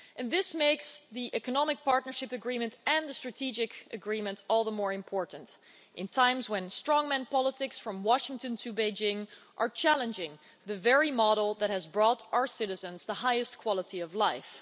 This makes the Economic Partnership Agreement and the Strategic Partnership Agreement all the more important in times when strongman politics from Washington to Beijing are challenging the very model that has brought our citizens the highest quality of life.